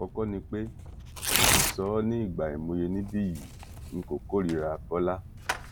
àkọkọ ni pé mo ti sọ ọ ní ìgbà àìmọye níbí yìí n kò kórìíra bọla